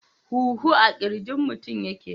Huhu a kirjin mutum yake.